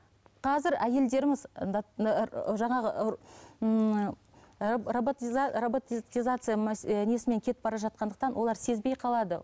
қазір әйелдеріміз жаңағы ыыы роботизация несімен кетіп бара жатқандықтан олар сезбей қалады